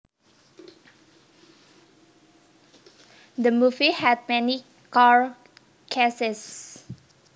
The movie had many car chases